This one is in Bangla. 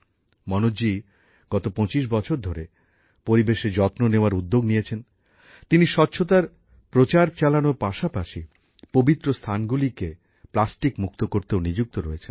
মনোজজি বিগত ২৫ বছর ধরে পরিবেশের যত্ন নেওয়ার উদ্যোগ নিয়েছেন তিনি স্বচ্ছতার প্রচার চালানোর পাশাপাশি পবিত্র স্থানগুলিকে প্লাস্টিক মুক্ত করতেও নিযুক্ত রয়েছেন